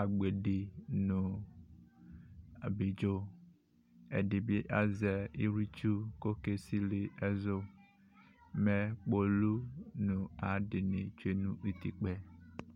agbedi nʋ abidzo ɛdibi azɛ iwlitsʋ kʋ ɔke sili ɛzʋ mʋ kpolʋ nʋ ayʋ adini tsʋe nʋ itikpa yɛ